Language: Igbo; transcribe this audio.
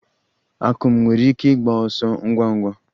Akum nwere ike ịgba ọsọ ngwa ngwa?